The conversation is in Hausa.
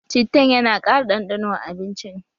Cittan yana ƙara ɗanɗano a abincin